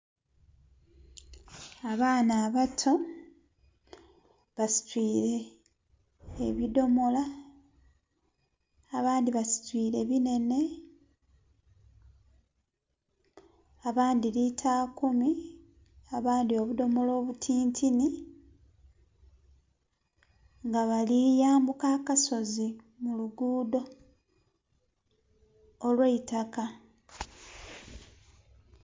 Abaana abato basitwire ebidomola, abandi basitwire binene abandi lita kumi, abandi obudomola obutinitini nga bali yambuka akasozi mu luguudo olwe itaka